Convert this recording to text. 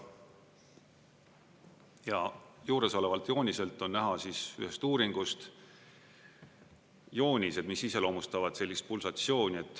Ja juuresolevalt jooniselt on näha ühest uuringust joonised, mis iseloomustavad sellist pulsatsiooni.